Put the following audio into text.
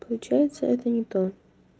получается это не то